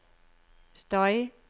støy